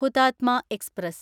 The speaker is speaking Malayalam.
ഹുതാത്മ എക്സ്പ്രസ്